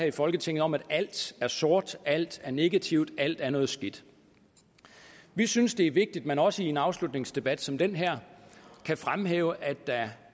i folketinget om at alt er sort alt er negativt alt er noget skidt vi synes det er vigtigt at man også i en afslutningsdebat som den her kan fremhæve at der